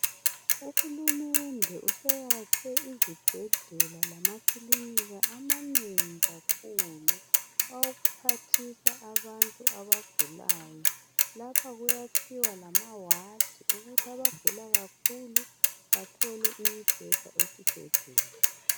Uhulumende useyakhe izibhedlela lamaklinika amanengi kakhulu awokuphathisa abantu abagulayo , lapha kuyakhiwa lamaward ukuthi abantu abagula kakhulu bathole i better esibhedlela